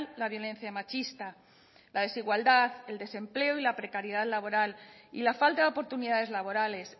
la violencia machista la desigualdad el desempleo la precariedad laboral y la falta de oportunidades laborales